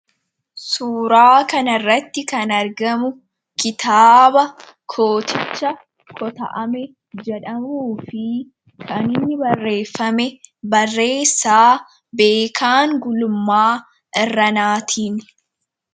Suuraa kan irratti kan argamu kitaaba kooticha kota'ame jedhamuu fi kaniini barreeffame barreessaa beekaan gulummaa irranaatiin.